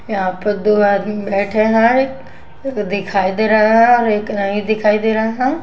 यहा पर दो आदमी बैठे है दिखाई दे रहा है और एक नहीं दिखाई दे रहा।